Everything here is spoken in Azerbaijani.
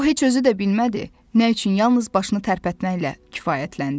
O heç özü də bilmədi, nə üçün yalnız başını tərpətməklə kifayətləndi.